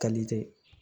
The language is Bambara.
tɛ